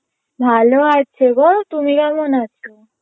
ভালো আছে গো তুমি কেমন আছো?